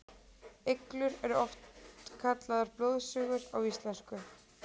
iglur eru oft kallaðar blóðsugur á íslensku